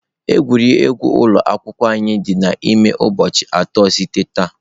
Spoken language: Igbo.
Egwuregwu ụlọ akwụkwọ anyị dị n'ime ụbọchị atọ site taa.